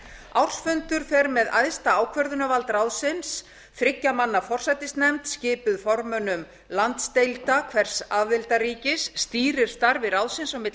ársfundur fer með æðsta ákvörðunarvald ráðsins þriggja manna forsætisnefnd skipuð formönnum landsdeilda hvers aðildarríkis stýrir starfi ráðsins á milli